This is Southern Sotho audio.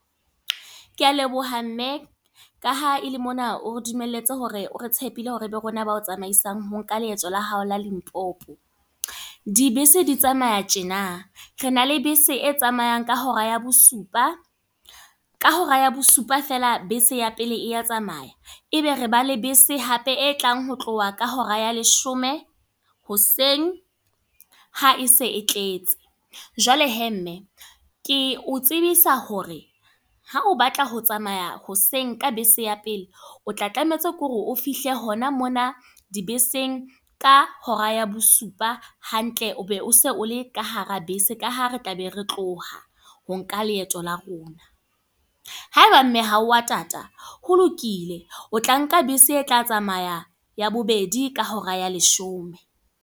Ke a leboha mme. Ka ha ele mona o re dumelletse hore o re tshepile hore ebe rona ba tsamaisang, ho nka leeto la hao la Limpopo. Dibese di tsamaya tjena. Re na le bese e tsamayang ka hora ya bosupa. Ka hora ya bosupa feela bese ya pele ya tsamaya. E be re ba le bese hape e tlang ho tloha ka hora ya leshome, hoseng ha e se e tletse. Jwale he mme, ke o tsebisa hore ha o batla ho tsamaya hoseng ka bese ya pele, o tla tlametse ke hore o fihle hona mona dibeseng ka hora ya bosupa hantle o be o se o le ka hara bese. Ka hara ha re tla be re tloha ho nka leeto la rona. Haeba mme ha wa tata, ho lokile, o tla nka bese e tla tsamaya ya bobedi ka hora ya leshome.